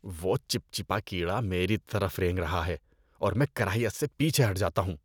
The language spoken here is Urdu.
وہ چپچپا کیڑا میری طرف رینگ رہا ہے اور میں کراہیت سے پیچھے ہٹ جاتا ہوں۔